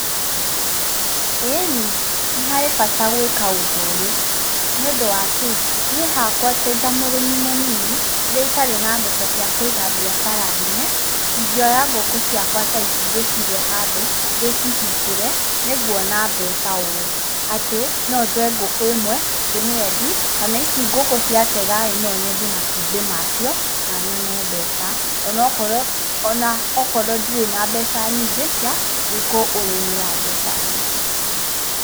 Ĩĩni nĩ harĩ bata gwĩka ũndũ ũyũ nĩũndũ wakĩ?.Nĩ hakwa ta mũrĩmi mũnini rĩrĩa itarĩ na mbeca cia kũiga mbiacara nene ingĩoya ngũkũ ciakwa ta ici ndĩcige handũ ndĩcihingĩre. Nĩ nguona mbeca ũũ atĩ no njoe ngũkũ ĩmwe ndĩmĩendie. Kana ici ngũkũ cia tega ĩ no nyendie matũmbĩ macio na nyone mbeca. Ona okorwo ndirĩ na mbeca nyingĩ cia gũika ũrĩmi wa mbeca nyingĩ.